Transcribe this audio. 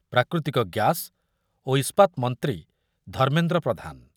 ପ୍ରାକୃତିକ ଗ୍ୟାସ୍‌ ଓ ଇସ୍ପାତ ମନ୍ତ୍ରୀ ଧର୍ମେନ୍ଦ୍ର ପ୍ରଧାନ ।